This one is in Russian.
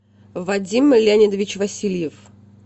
вадим леонидович васильев